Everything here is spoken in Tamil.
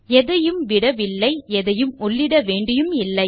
எதையும் விடவில்லை எதையும் உள்ளிட வேண்டியும் இல்லை